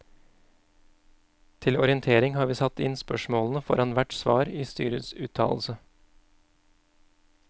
Til orientering har vi satt inn spørsmålene foran hvert svar i styrets uttalelse.